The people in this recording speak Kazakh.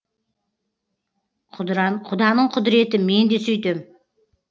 құданың құдіреті мен де сөйтем